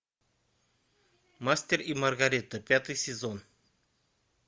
мастер и маргарита пятый сезон